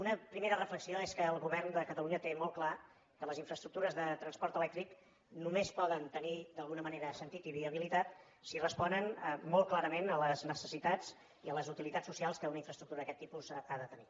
una primera reflexió és que el govern de catalunya té molt clar que les infraestructures de transport elèctric només poden tenir d’alguna manera sentit i viabilitat si responen molt clarament a les necessitats i a les utilitats socials que una infraestructura d’aquest tipus ha de tenir